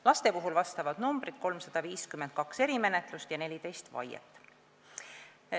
Vastavad numbrid laste puhul: 352 erimenetlust ja 14 vaiet.